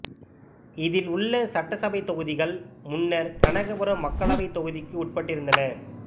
இதில் உள்ள சட்டசபைத் தொகுதிகள் முன்னர் கனகபுரம் மக்களவைத் தொகுதிக்கு உட்பட்டிருந்தன